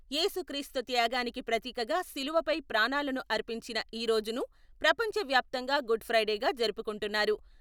ఏసుక్రీస్తు త్యాగానికి ప్రతీకగా శిలువపై ప్రాణాలను అర్పించిన ఈ రోజును ప్రపంచ వ్యాప్తంగా గుడ్ ఫ్రైడేగా జరుపుకుంటున్నారు.